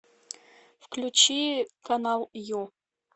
включи канал ю